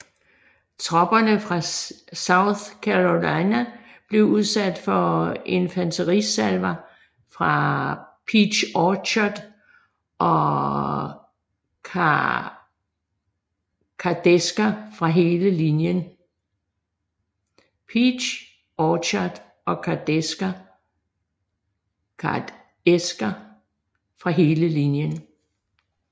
Tropperne fra South Carolina blev udsat for infanterisalver fra Peach Orchard og kardæsker fra hele linjen